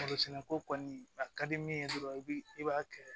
Barosɛnɛko kɔni a ka di min ye dɔrɔn i b'a kɛ